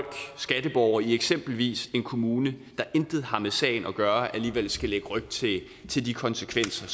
skatteborgere i eksempelvis en kommune der intet har med sagen at gøre alligevel skal lægge ryg til til de konsekvenser